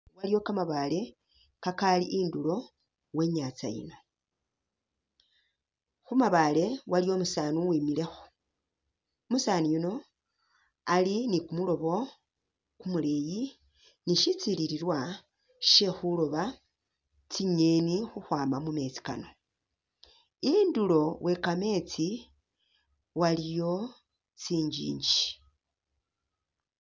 Iliyo kamabaale kakali indulo we nyantsa yino ,khumabaale waliyo umusaani uwimilekho ,umusaani yuno ali ni kumuloobo kumuleyi ni shitsilililwa she khulooba tsingeni khukhwama mumeetsi kano ,indulo we kameetsi waliyo tsinjinji